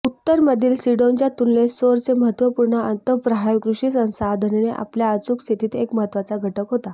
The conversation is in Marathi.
उत्तरमधील सिडोनच्या तुलनेत सोरचे महत्त्वपूर्ण अंतःप्राय कृषि संसाधने आपल्या अचूक स्थितीत एक महत्त्वाचा घटक होता